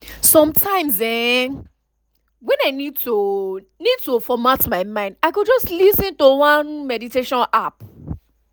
sometimes[um]when i need to need to format my mind i go just lis ten to one meditation app